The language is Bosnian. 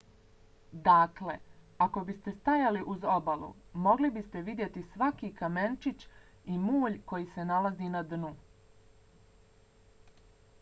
dakle ako biste stajali uz obalu mogli biste vidjeti svaki kamenčić i mulj koji se nalazi na dnu